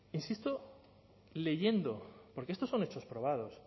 insisto leyendo porque estos son hechos probados